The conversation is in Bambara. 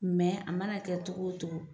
a mana kɛ cogo o cogo